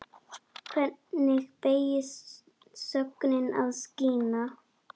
Hvernig beygist sögnin að skína?